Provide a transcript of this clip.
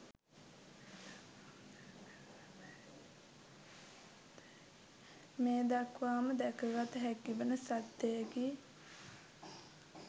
මේ දක්වාම දැකගත හැකි වන සත්‍යයකි.